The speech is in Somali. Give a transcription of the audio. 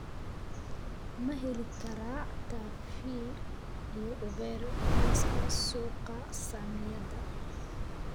ma heli karaa taxify iyo uber liiska suuqa saamiyada